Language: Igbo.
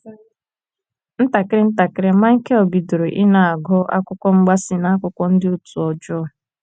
Ntakịrị ntakịrị, Michael bidoro ịna - agụ akwụkwọ mgbaasị na akwụkwọ ndị òtù ọjọọ..